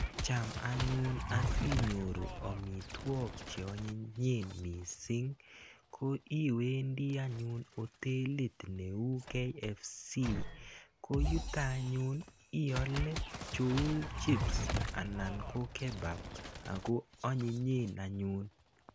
Cham anyun asinyoru amitwogik che anyinyen missing, ko iwendi anyun hotelit neuu KFC. Ko yutok anyun aile cheu chips anan ko kebab. Ako anyinyen anyun.